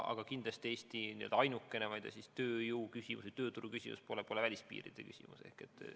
Aga kindlasti Eesti ainukene tööjõuküsimus või tööturuküsimus pole välispiiride küsimus.